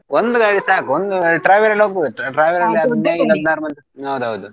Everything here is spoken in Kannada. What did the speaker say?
ಒಂದು ಗಾಡಿ ಸಾಕು ಒಂದು travel ಅಲ್ಲಿ ಹೋಗ್ಬೋದು ಹೌದೌದು.